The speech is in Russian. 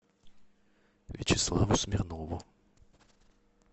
вячеславу смирнову